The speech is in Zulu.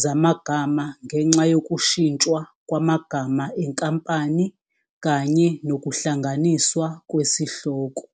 zamagama ngenxa yokushintshwa kwamagama enkampani kanye nokuhlanganiswa kwesihloko.